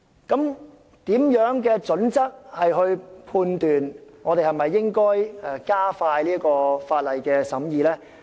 究竟有何準則判斷應否加快法案的審議呢？